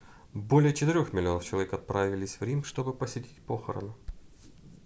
более четырёх миллионов человек отправились в рим чтобы посетить похороны